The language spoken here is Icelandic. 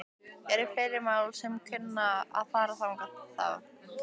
Eru fleiri mál sem að kunna að fara þangað þá?